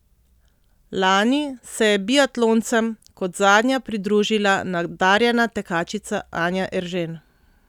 Lani se je biatloncem kot zadnja pridružila nadarjena tekačica Anja Eržen.